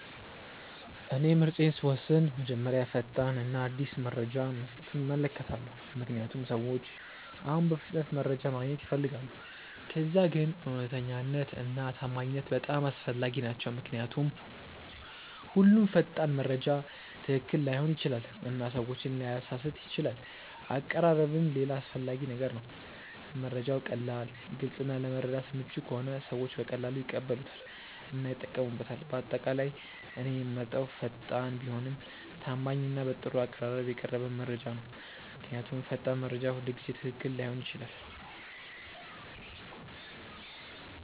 እኔ ምርጫዬን ስወስን መጀመሪያ ፈጣን እና አዲስ መረጃ መስጠቱን እመለከታለሁ፣ ምክንያቱም ሰዎች አሁን በፍጥነት መረጃ ማግኘት ይፈልጋሉ። ከዚያ ግን እውነተኛነት እና ታማኝነት በጣም አስፈላጊ ናቸው ምክንያቱም ሁሉም ፈጣን መረጃ ትክክል ላይሆን ይችላል እና ሰዎችን ሊያሳስት ይችላል አቀራረብም ሌላ አስፈላጊ ነገር ነው፤ መረጃው ቀላል፣ ግልጽ እና ለመረዳት ምቹ ከሆነ ሰዎች በቀላሉ ይቀበሉታል እና ይጠቀሙበታል። በአጠቃላይ እኔ የምመርጠው ፈጣን ቢሆንም ታማኝ እና በጥሩ አቀራረብ የቀረበ መረጃ ነው። ምክንያቱም ፈጣን መረጃ ሁልጊዜ ትክክል ላይሆን ይችላል።